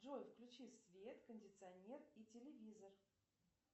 джой включи свет кондиционер и телевизор